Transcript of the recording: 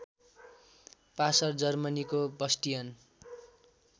passer जर्मनीको Bastian